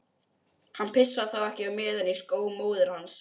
Hann pissaði þá ekki á meðan í skó móður hans.